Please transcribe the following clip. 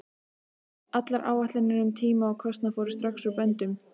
Allar áætlanir um tíma og kostnað fóru strax úr böndum.